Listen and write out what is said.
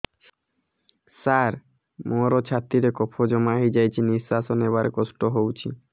ସାର ମୋର ଛାତି ରେ କଫ ଜମା ହେଇଯାଇଛି ନିଶ୍ୱାସ ନେବାରେ କଷ୍ଟ ହଉଛି